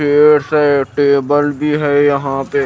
Chairs है table भी है यहां पे।